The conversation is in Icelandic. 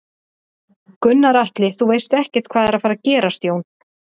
Gunnar Atli: Þú veist ekkert hvað er að fara gerast Jón?